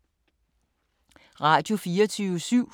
Radio24syv